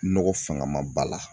Nɔgɔ fanga ma ba la